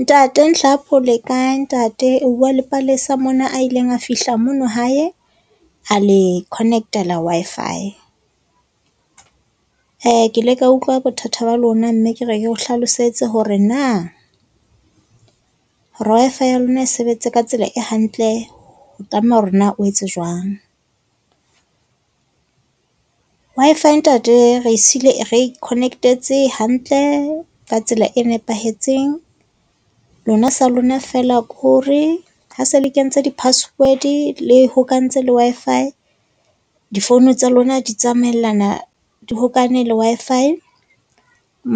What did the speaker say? Ntate Nhlapho le kae ntate? O bua le Palesa mona a ileng a fihla mono hae a le connect-ela Wi-Fi. ke le ka utlwa bothata ba lona mme ke re ke o hlalosetse hore na hore Wi-Fi ya lona e sebetse ka tsela e hantle ho tlameha hore na o etse jwang. Wi-Fi ntate re e siile re e connect-etse hantle ka tsela e nepahetseng. Lona sa lona feela ko re ha se le kentse di-password-e le hokahantse le Wi-Fi di-phone tsa lona di tsamaellana di hokane le Wi-Fi